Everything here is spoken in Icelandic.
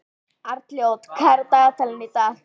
Arnljót, hvað er á dagatalinu í dag?